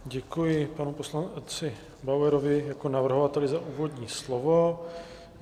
Děkuji panu poslanci Bauerovi jako navrhovateli za úvodní slovo.